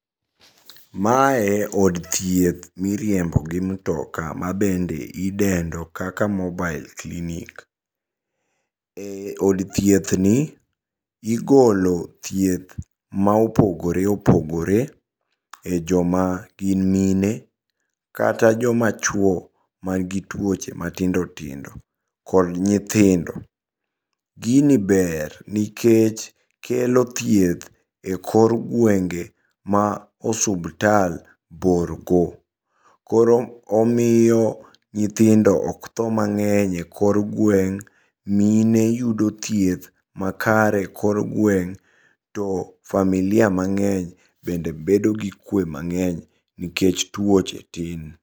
Mae od thieth miriembo gi mtoka ma bende idenndo kaka mobile clinic. E od thieth ni igolo thieth ma opogore opogore e joma gin mine kata joma chuo man gi tuoche matindo tindo kod nyithindo. Gini ber nikech kelo thieth e kor gwenge ma osuptal bor go. Koro omiyo nyithindo ok tho mang'eny e kor gweng'. Mine yudo thieth makare e kor gweng'. To familia mang'eny bende bedo gi kwe mang'eny nikech tuoche tin.